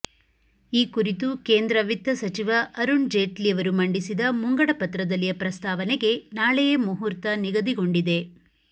ಈ ಕುರಿತು ಕೇಂದ್ರ ವಿತ್ತ ಸಚಿವ ಅರುಣ್ ಜೇಟ್ಲಿಯವರು ಮಂಡಿಸಿದ ಮುಂಗಡಪತ್ರದಲ್ಲಿಯ ಪ್ರಸ್ತಾವನೆಗೆ ನಾಳೆಯೇ ಮುಹೂರ್ತ ನಿಗದಿಗೊಂಡಿದೆ